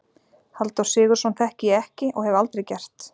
Halldór Sigurðsson þekki ég ekki- og hef aldrei gert.